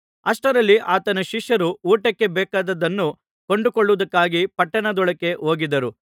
ಅಷ್ಟರಲ್ಲಿ ಆತನ ಶಿಷ್ಯರು ಊಟಕ್ಕೆ ಬೇಕಾದದ್ದನ್ನು ಕೊಂಡುಕೊಳ್ಳುವುದಕ್ಕಾಗಿ ಪಟ್ಟಣದೊಳಕ್ಕೆ ಹೋಗಿದ್ದರು